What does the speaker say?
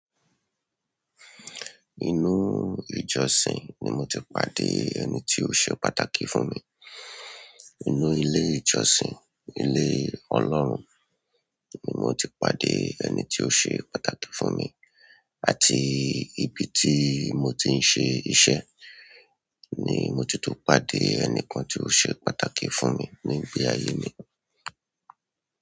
Inú ìjọsìn ni mo ti pàdé ẹni tí ó ṣe pàtàkì fún mi. Inú ilé ìjọsìn, ilé Ọlọ́run ni mo ti pàdé ẹni tí ó ṣe pàtàkì fún mi àti ibi tí mo ti ń ṣe iṣẹ́ ni mo ti tún pàdé ẹnìkan tí ó ṣe pàtàkì fún mi nígbè ayé mi.